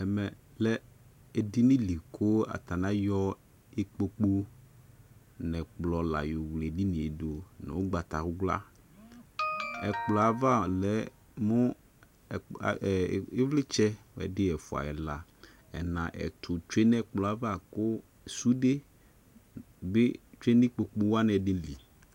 ɛmɛ lɛ edini dɩ kʊ ayɔ ikpoku nʊ ɛkplɔ la yɔ wle edini yɛ dʊ, nʊ sɔlɔ, ivlitsɛ ɛdɩ, ɛfua, ɛla, ɛna, ɛtʊ tsue nʊ ɛkplɔ yɛ ava, kʊ sũnde bɩ lɛ nʊ ikpokuwanɩ ɛdɩnɩ li